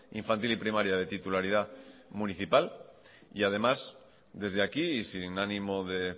infantil y primaria de titularidad municipal además desde aquí y sin ánimo de